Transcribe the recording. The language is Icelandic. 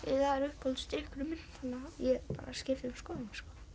er uppáhalds drykkurinn minn svo ég skipti um skoðun